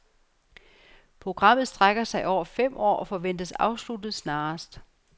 Programmet strækker sig over fem år og forventes afsluttet snarest.